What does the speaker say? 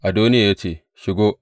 Adoniya ya ce, Shigo!